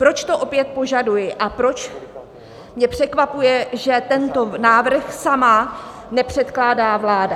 Proč to opět požaduji a proč mě překvapuje, že tento návrh sama nepředkládá vláda.